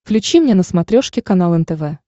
включи мне на смотрешке канал нтв